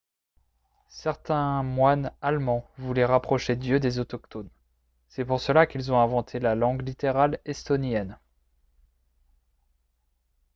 certains moines allemands voulaient rapprocher dieu des autochtones ; c’est pour cela qu’ils ont inventé la langue littérale estonienne